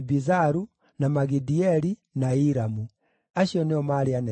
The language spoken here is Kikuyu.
na Magidieli, na Iramu. Acio nĩo maarĩ anene a Edomu.